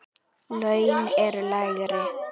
Laun eru lægri.